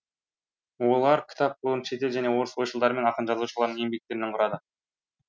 олар кітап қорын шетел және орыс ойшылдары мен ақын жазушыларының еңбектерінен құрады